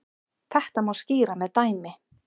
Þetta má skýra með dæmi.